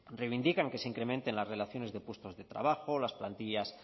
reivindican que se incrementen las relaciones de puestos de trabajo las plantillas